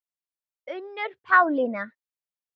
Unnur Pálína.